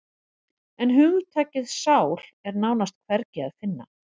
En hugtakið sál er nánast hvergi að finna.